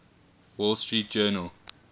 wall street journal